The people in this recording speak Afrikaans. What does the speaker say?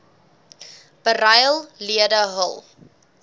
beryl lede hul